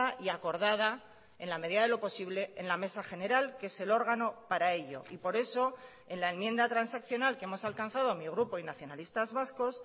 y acordada en la medida de lo posible en la mesa general que es el órgano para ello y por eso en la enmienda transaccional que hemos alcanzado mi grupo y nacionalistas vascos